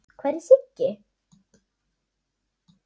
Hvar er Siggi?